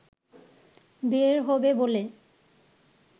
বের হবে বলে